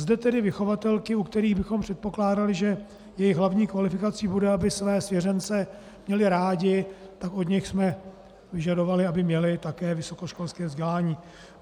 Zde tedy vychovatelky, u kterých bychom předpokládali, že jejich hlavní kvalifikací bude, aby své svěřence měly rády, tak od nich jsme vyžadovali, aby měly také vysokoškolské vzdělání.